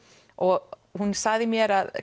og hún sagði mér að